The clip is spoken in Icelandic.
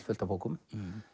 fullt af bókum